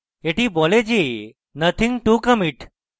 এটি বলে যে nothing to commit